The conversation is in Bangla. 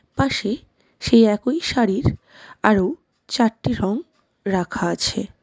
পাশে সেই একই শাড়ির আরো চারটি রং রাখা আছে।